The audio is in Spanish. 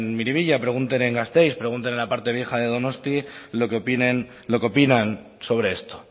miribilla pregunten en gasteiz pregunten en la parte vieja de donostia lo que opinan sobre esto